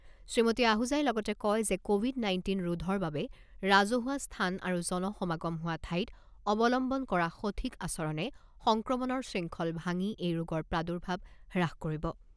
শ্ৰীমতী আহুজাই লগতে কয় যে, ক'ভিড নাইণ্টিন ৰোধৰ বাবে ৰাজহুৱা স্থান আৰু জন সমাগম হোৱা ঠাইত অৱলম্বন কৰা সঠিক আচৰণে সংক্ৰমণৰ শৃংখল ভাঙি এই ৰোগৰ প্ৰাদুৰ্ভাৱ হ্ৰাস কৰিব।